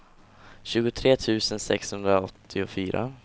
tjugotre tusen sexhundraåttiofyra